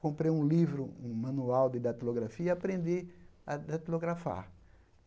Comprei um livro, um manual de datilografia e aprendi a datilografar.